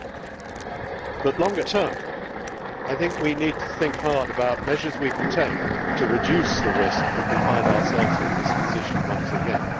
In the longer term, however, we need to think hard about measures we can take to reduce the risk of finding ourselves in this position once again.